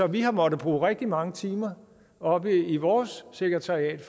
vi har måttet bruge rigtig mange timer oppe i vores sekretariat